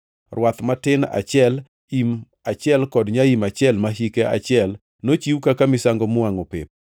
rwath matin achiel, im achiel kod nyaim achiel ma hike achiel, nochiw kaka misango miwangʼo pep;